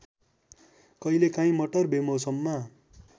कहिलेकाहीं मटर बेमौसममा